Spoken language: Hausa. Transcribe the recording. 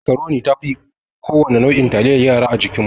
Macroni ta fi kowane nau'in taliyar yara a jikinmu.